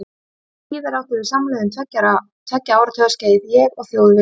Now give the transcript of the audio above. Síðar áttum við samleið um tveggja áratuga skeið, ég og Þjóðviljinn.